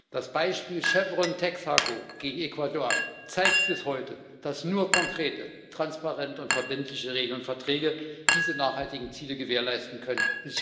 Das Beispiel Chevron Texaco gegen Ecuador zeigt bis heute, dass nur konkrete, transparente und verbindliche Regeln und Verträge diese nachhaltigen Ziele gewährleisten können.